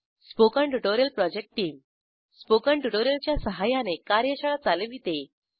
spoken tutorial project team spoken tutorial च्या सहाय्याने कार्यशाळा चालविते